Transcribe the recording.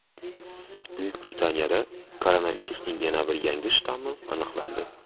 Buyuk Britaniyada koronavirusning yana bir yangi shtammi aniqlandi.